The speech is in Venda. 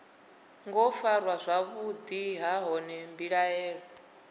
ngo farwa zwavhuḓi nahone mbilaelo